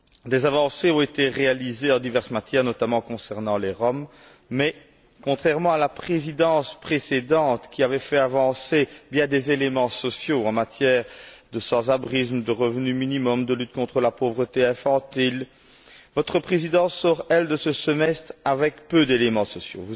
Des avancées ont été réalisées en diverses matières, notamment concernant les Roms mais, contrairement à la présidence précédente, qui avait fait avancer bien des éléments sociaux concernant les sans abri, le revenu minimum ou la lutte contre la pauvreté infantile, votre présidence sort, elle, de ce semestre avec peu d'éléments sociaux.